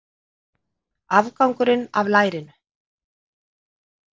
Afgangurinn af lærinu.